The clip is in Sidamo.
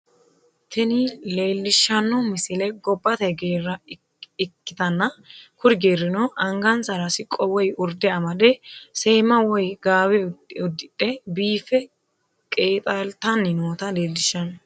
Tini leellishshanno misile gobbate geerra ikkitanna, kuri geerino angansara siqqo woy urde amade, seemma woy gaawe uddidhe biiffe qeexaalitanni noota leellishshanno.